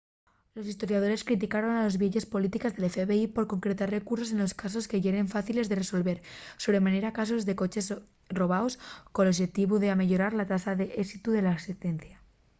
los historiadores criticaron les vieyes polítiques del fbi por concentrar recursos en casos que yeren fáciles de resolver sobre manera casos de coches robaos col oxetivu d’ameyorar la tasa d’ésitu de l’axencia